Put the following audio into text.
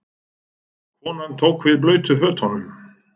Konan tók við blautu fötunum.